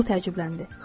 O təəccübləndi.